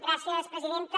gràcies presidenta